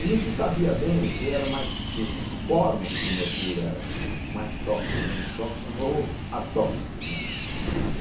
E não se sabia bem o que era mais que em que forma que o mercúrio era mais tóxico ou menos tóxico ou atóxico, né.